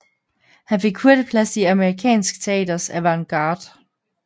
Han fik hurtigt plads i amerikansk teaters avantgarde